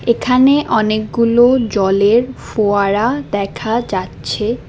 এখানে অনেকগুলো জলের ফোয়ারা দেখা যাচ্ছে।